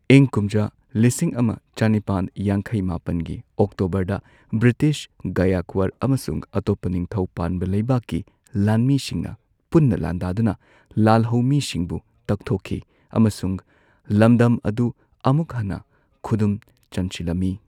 ꯏꯪ ꯀꯨꯝꯖꯥ ꯂꯤꯁꯤꯡ ꯑꯃ ꯆꯅꯤꯄꯥꯟ ꯌꯥꯡꯈꯩ ꯃꯥꯄꯟꯒꯤ ꯑꯣꯛꯇꯣꯕꯔꯗ ꯕ꯭ꯔꯤꯇꯤꯁ, ꯒꯥꯌꯦꯛꯋꯥꯔ ꯑꯃꯁꯨꯡ ꯑꯇꯣꯞꯄ ꯅꯤꯡꯊꯧ ꯄꯥꯟꯕ ꯂꯩꯕꯥꯛꯀꯤ ꯂꯥꯟꯃꯤꯁꯤꯡꯅ ꯄꯨꯟꯅ ꯂꯥꯟꯗꯥꯗꯨꯅ ꯂꯥꯜꯍꯧꯃꯤꯁꯤꯡꯕꯨ ꯇꯛꯊꯣꯛꯈꯤ ꯑꯃꯁꯨꯡ ꯂꯝꯗꯝ ꯑꯗꯨ ꯑꯃꯨꯛ ꯍꯟꯅ ꯈꯨꯗꯨꯝ ꯆꯟꯁꯤꯜꯂꯝꯃꯤ꯫